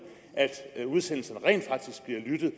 at udsendelserne rent faktisk bliver lyttet